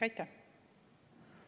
Aitäh!